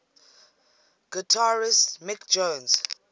guitarist mick jones